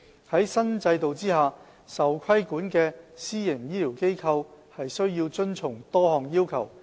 在新制度下，受規管的私營醫療機構須遵從多項要求。